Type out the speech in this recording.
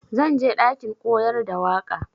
Zan je ɗakin koyar da waƙa.